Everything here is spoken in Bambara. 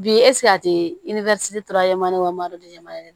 Bi a tɛ